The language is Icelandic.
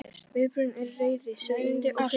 Viðbrögðin eru reiði, særindi og pirringur.